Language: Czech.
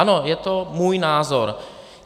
Ano, je to můj názor.